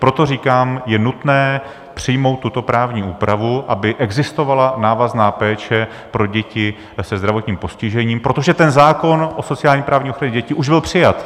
Proto říkám, je nutné přijmout tuto právní úpravu, aby existovala návazná péče pro děti se zdravotním postižením, protože ten zákon o sociálně-právní ochraně dětí už byl přijat.